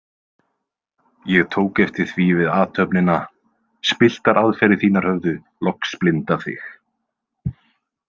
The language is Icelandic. Ég tók eftir því við athöfnina, spilltar aðferðir þínar höfðu loks blindað þig.